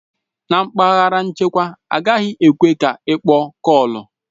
Na mpaghara nchekwa, agaghị ekwe ka ịkpọ kọọlu